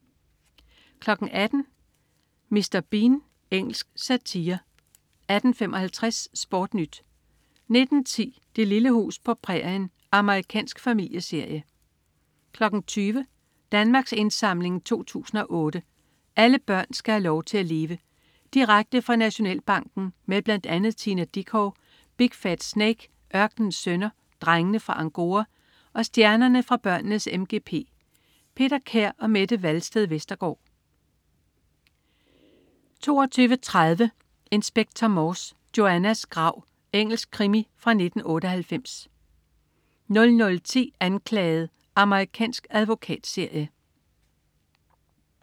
18.00 Mr. Bean. Engelsk satire 18.55 SportNyt 19.10 Det lille hus på prærien. Amerikansk familieserie 20.00 Danmarks Indsamling 2008. "Alle børn skal have lov til at leve". Direkte fra Nationalbanken med bl.a. Tina Dickow, Big Fat Snake, Ørkenens Sønner, Drengene fra Angora og stjernerne fra børnenes MGP. Peter Kær og Mette Walsted Vestergaard 22.30 Inspector Morse: Joannas grav. Engelsk krimi fra 1998 00.10 Anklaget. Amerikansk advokatserie